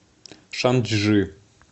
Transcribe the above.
шанчжи